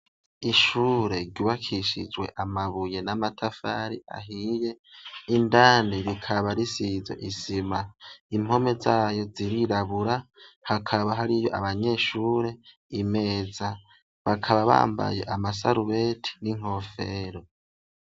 Ishure riwakishijwe amabuye n'amatafari ahiye indani rikaba risizo isima impome zayo zirirabura hakaba hari iyo abanyeshure imeza bakaba bambaye amasarubeti n'inkofero.